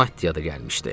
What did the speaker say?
Maddiya da gəlmişdi.